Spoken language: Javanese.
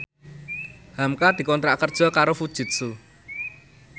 hamka dikontrak kerja karo Fujitsu